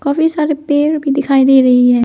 काफी सारे पेड़ भी दिखाई दे रहे हैं।